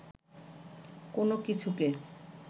কোন কিছুকে